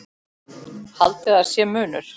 Haldið að sé munur!